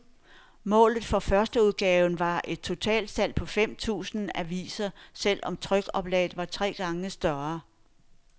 Målet for førsteudgaven var et totalsalg på fem tusind aviser, selv om trykoplaget var tre gange større.